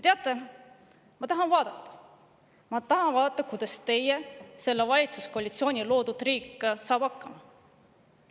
Teate, ma tahan vaadata, kuidas teie, selle valitsuskoalitsiooni loodud riik saab hakkama.